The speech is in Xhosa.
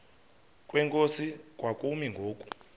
kwenkosi kwakumi ngoku